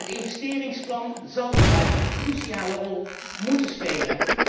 Het investeringsplan zal hierbij een cruciale rol moeten spelen.